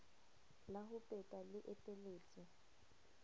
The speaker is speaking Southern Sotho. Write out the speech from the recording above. la ho pepa le eteletswe